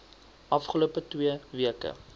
afgelope twee weke